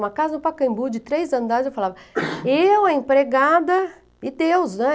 Uma casa no Pacaembu de três andares, eu falava, eu, a empregada e Deus, né?